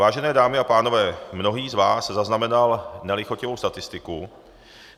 Vážené dámy a pánové, mnohý z vás zaznamenal nelichotivou statistiku.